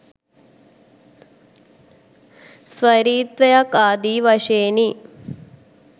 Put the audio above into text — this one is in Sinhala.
ස්වෛරීත්වයක් ආදී වශයෙනි